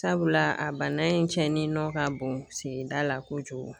Sabula a bana in cɛnnin nɔ ka bon sigida la kojugu.